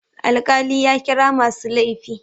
Alkali ya kira masu laifin.